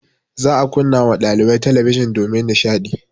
Za a kunna ma ɗalibai talabijin domin nishaɗi.